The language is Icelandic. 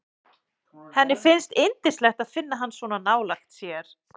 Henni finnst yndislegt að finna hann svona nálægt sér.